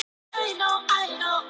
Knerri